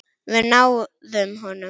Við náðum honum.